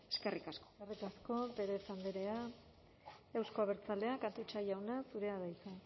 eskerrik asko eskerrik asko perez andrea euzko abertzaleak atutxa jauna zurea da hitza